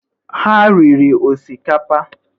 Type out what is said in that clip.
Ha riri osikapa?